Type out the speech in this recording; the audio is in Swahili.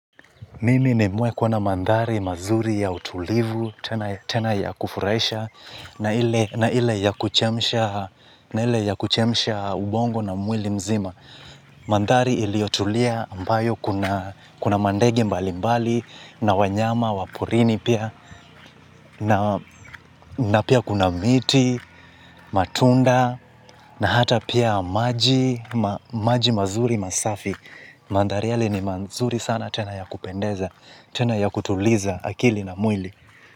Mimi nimewahi kuona mandhari mazuri ya utulivu, tena ya kufurahisha, na ile ya kuchemsha ubongo na mwili mzima. Mandhari iliyotulia ambayo kuna mandege mbali mbali, na wanyama, waporini pia, na pia kuna miti, matunda, na hata pia maji mazuri masafi. Mandhari yale ni mazuri sana tena ya kupendeza tena ya kutuliza akili na mwili.